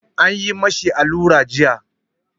An yi ma shi allura jiya.